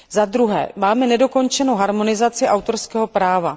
Dále máme nedokončenou harmonizaci autorského práva.